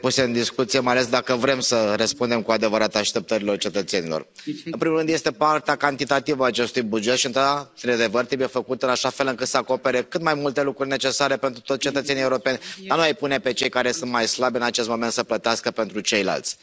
puse în discuție, mai ales dacă vrem să răspundem cu adevărat așteptărilor cetățenilor. În primul rând este partea cantitativă a acestui buget și da, într adevăr, trebuie făcut în așa fel încât să acopere cât mai multe lucruri necesare pentru toți cetățenii europeni, a nu i mai pune pe cei care sunt mai slabi în acest moment să plătească pentru ceilalți.